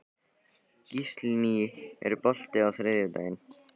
Gíslný, er bolti á þriðjudaginn?